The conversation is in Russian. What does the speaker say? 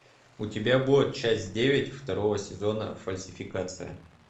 у тебя будет часть девять второго сезона фальсификация